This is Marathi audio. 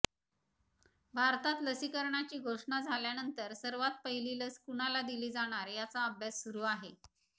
भारतात लसीकरणाची घोषणा झाल्यानंतर सर्वात पहिली लस कुणाला दिली जाणार याचा अभ्यास सुरु आहे